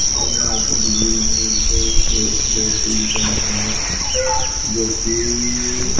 सब यह I think किसी के मरी से एक दो तीन चार बंदे या जोकि--